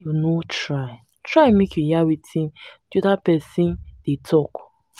why you no try try make you hear wetin di oda pesin dey tok.